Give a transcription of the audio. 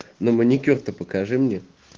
но маникюр-то покажи мне